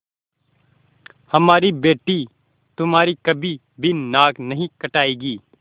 हमारी बेटी तुम्हारी कभी भी नाक नहीं कटायेगी